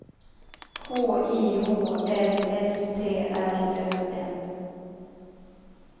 K I H L S T R Ö M